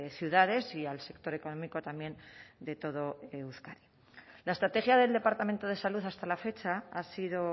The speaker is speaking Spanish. ciudades y al sector económico también de todo euskadi la estrategia del departamento de salud hasta la fecha ha sido